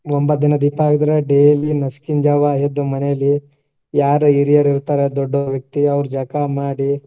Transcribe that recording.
ಒಂಬತ್ತ ದಿನ ದೀಪಾ ಕಾಯೋದ್ರಿ daily ನಸಕಿನ್ ಜಾವಾ ಎದ್ದು ಮನೇಲಿ ಯಾರ್ ಹಿರಿಯರ್ ಇರ್ತಾರಾ ದೊಡ್ಡ್ ವ್ಯಕ್ತಿ ಅವ್ರ್ ಜಳಕಾ ಮಾಡಿ.